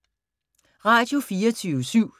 Radio24syv